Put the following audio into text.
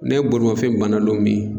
Ne bolemafɛn banna don min